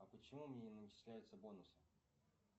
а почему мне не начисляются бонусы